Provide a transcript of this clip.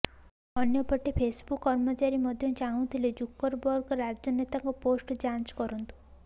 ଅନ୍ୟପଟେ ଫେସବୁକ୍ କର୍ମଚାରୀ ମଧ୍ୟ ଚାହୁଁଥିଲେ ଜୁକରବର୍ଗ ରାଜନେତାଙ୍କ ପୋଷ୍ଟ ଯାଞ୍ଚ କରନ୍ତୁ